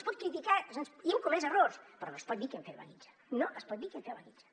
es pot criticar i hem comès errors però no es pot dir que hem fet la guitza no es pot dir que hem fet la guitza